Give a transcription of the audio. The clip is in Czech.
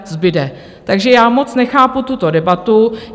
Takže já moc nechápu tuto debatu.